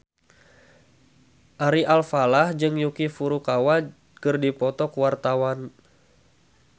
Ari Alfalah jeung Yuki Furukawa keur dipoto ku wartawan